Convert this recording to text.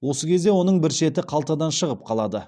осы кезде оның бір шеті қалтадан шығып қалады